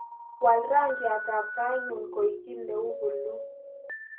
Waal rangyatab tainyu koek kiiy neu puluu